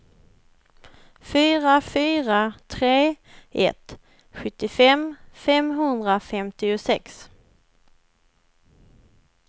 fyra fyra tre ett sjuttiofem femhundrafemtiosex